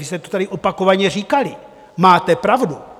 Vy jste to tady opakovaně říkali, máte pravdu.